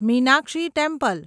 Meenakshi temple